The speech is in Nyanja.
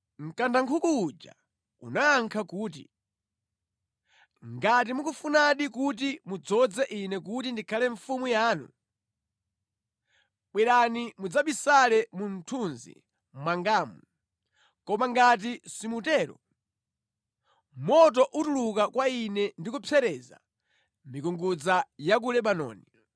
Mkandankhuku uja unayankha kuti, “Ngati mukufunadi kuti mudzoze ine kuti ndikhale mfumu yanu, bwerani mudzabisale mu mthunzi mwangamu, koma ngati simutero, moto utuluka kwa ine ndi kupsereza mikungudza ya ku Lebanoni.”